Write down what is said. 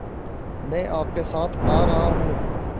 मैं आपके साथ आ रहा हूँ